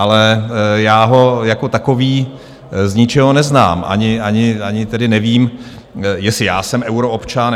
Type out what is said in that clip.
Ale já ho jako takový z ničeho neznám, ani tedy nevím, jestli já jsem euroobčan.